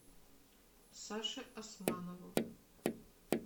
саше османову